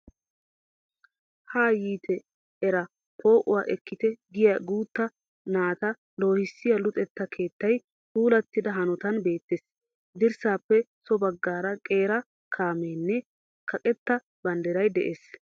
Haa yiite eraa poo"uwa ekkite giya guutta naata loohissiya luxetta keettaay puulattida hanotan beettees. Dirssaappe so baggaara qeera kaamee nne kaqetta banddiray de'es.